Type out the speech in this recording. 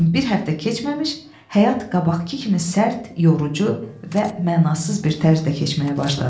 Lakin bir həftə keçməmiş həyat qabaqkı kimi sərt, yorucu və mənasız bir tərzdə keçməyə başladı.